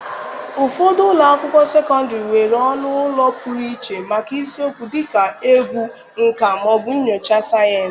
Ụfọdụ ụlọ akwụkwọ sekọndịrị nwere ọnụ ụlọ pụrụ iche maka isiokwu dịka egwu, nka, ma ọ bụ nnyocha sayensị.